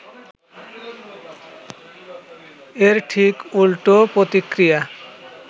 এর ঠিক উল্টো প্রতিক্রিয়া